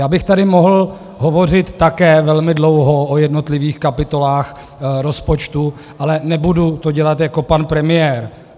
Já bych tady mohl hovořit také velmi dlouho o jednotlivých kapitolách rozpočtu, ale nebudu to dělat jako pan premiér.